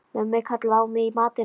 Mummi kallaði á mig í matinn.